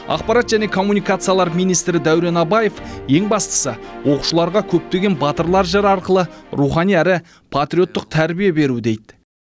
ақпарат және коммуникациялар министрі дәурен абаев ең бастысы оқушыларға көптеген батырлар жыры арқылы рухани әрі патриоттық тәрбие беру дейді